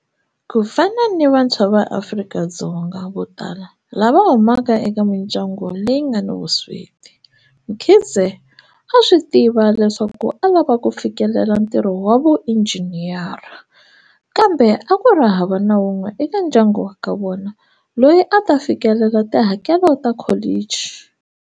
Ku fana ni vantshwa va Afrika-Dzonga vo tala lava humaka eka mindyangu leyi nga ni vusweti, Mkhize a swi tiva leswaku a lava ku fikelela ntirho wa vuinjhiniyara, kambe a ku ri hava na un'we eka ndyangu wa ka vona loyi a ta fikelela tihakelo ta kholichi.